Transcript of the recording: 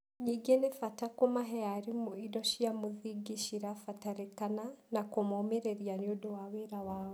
Ningĩ, nĩ bata kũmahe arimũ indo cia mũthingi cirabataranĩka na kũmomĩrĩria nĩ ũndũ wa wĩra wao.